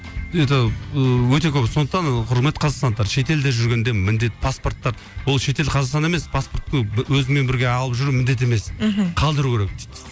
это ыыы өте көп сондықтан құрметті қазақстандықтар шет елде жүргенде міндет паспортты ол шет ел қазақстан емес паспортты өзіңмен бірге алып жүру міндет емес мхм қалдыру керек дейді